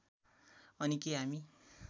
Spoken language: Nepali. अनि के हामी